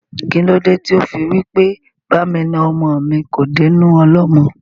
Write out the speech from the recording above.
Kílódé tí ó fí wí pé "Ba mi na ọmọ mi kò dé inú ọlọ́mọ?"